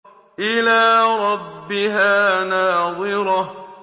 إِلَىٰ رَبِّهَا نَاظِرَةٌ